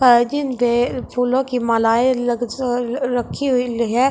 गए फूलों की मालाएँ लगजर रखी हुई लही है और इन --